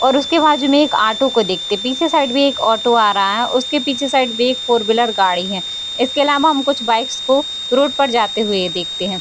और उसके बाजू में एक ऑटो को देखते पीछे साइड भी एक ऑटो आ रहा है उसके पीछे साइड भी एक फोर व्हीलर गाड़ी है इसके आलावा हम कुछ बाइक्स को रोड पर जाते हुए देखते हैं।